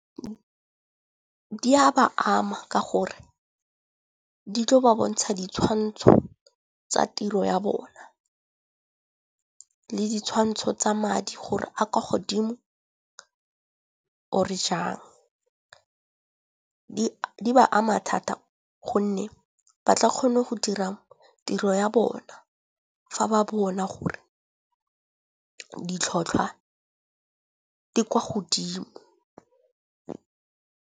Di a ba ama ka gore di tlo ba bontsha ditshwantsho tsa tiro ya bona le ditshwantsho tsa madi gore a kwa godimo or-e jang. Di ba ama thata gonne ba tla kgone go dira tiro ya bona fa ba bona gore ditlhotlhwa di kwa godimo.